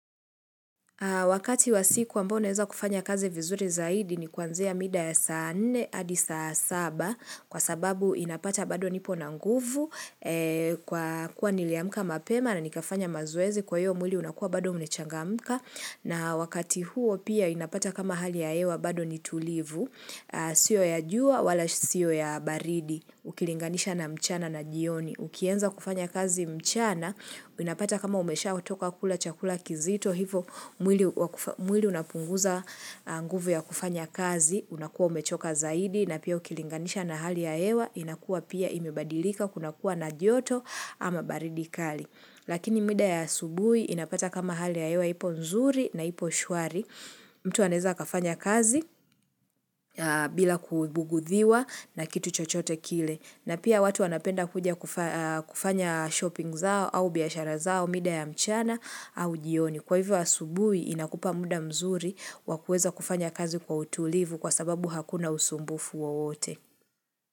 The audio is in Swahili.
Wakati wa siku ambao naeza kufanya kazi vizuri zaidi ni kuanzia mida ya saa nne hadi saa saba kwa sababu inapata bado nipo na nguvu kwa kuwa niliamka mapema na nikafanya mazoezi kwa hiyo mwili unakua bado umechangamka na wakati huo pia inapata kama hali ya hewa bado ni tulivu sio ya jua wala sio ya baridi ukilinganisha na mchana na jioni. Ukianza kufanya kazi mchana, unapata kama umeshatoka kula chakula kizito hivo, mwili unapunguza nguvu ya kufanya kazi, unakuwa umechoka zaidi, na pia ukilinganisha na hali ya hewa, inakuwa pia imebadilika, kunakuwa na joto ama baridi kali. Lakini mida ya asubuhi inapata kama hali ya hewa ipo nzuri na ipo shwari, mtu anaeza akafanya kazi bila kubugudhiwa na kitu chochote kile. Na pia watu wnapenda kuja kufanya shopping zao au biashara zao, mida ya mchana au jioni. Kwa hivyo asubuhi inakupa muda mzuri wa kuweza kufanya kazi kwa utulivu kwa sababu hakuna usumbufu wowote.